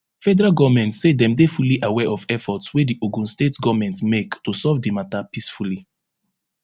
federal goment say dem dey fully aware of efforts wey di ogun state goment dey make to solve di mata peacefully